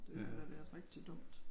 Det havde været rigtig dumt